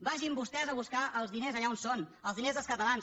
vagin vostès a buscar els diners allà on són els diners dels catalans